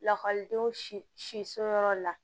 Lakɔlidenw si so yɔrɔ la